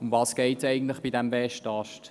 Worum geht es bei diesem Westast?